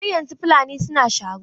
Har yanzu Fulani suna sharo.